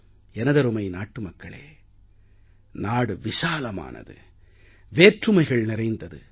எனதருமை நாட்டு மக்களே நாடு விசாலமானது வேற்றுமைகள் நிறைந்தது